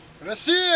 Rusiya!